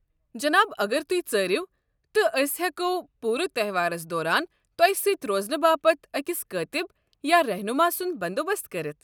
جناب، اگر تُہۍ ژٲرِیو، تہٕ ٲسۍ ہیٚکو پوٗرٕ تہوارَس دوران تۄہہِ سۭتۍ روزنہٕ باپت اکٛس کٲتِب یا رہنما سُنٛد بندوبست کٔرِتھ۔